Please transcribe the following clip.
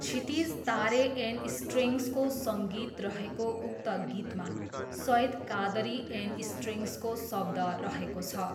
क्षितिज Tare and स्ट्रिङ्सको सङ्गीत रहेको उक्त गीतमा सइद कादरी एन्ड स्ट्रिङ्सको शब्द रहेको छ।